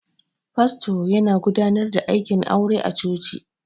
Fasto yana godanar da aikin aure a cuci